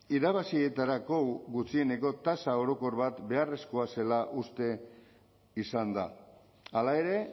irabazietarako gutxieneko tasa orokor bat beharrezkoa zela uste izan da hala ere